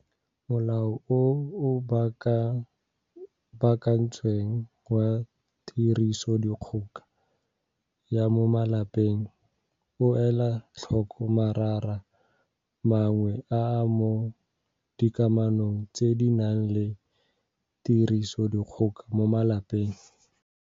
Molao o o Baakantsweng wa Tirisodikgoka ya mo Malapeng o ela tlhoko marara mangwe a a mo dikamanong tse di nang le tirisodikgoka mo malapeng.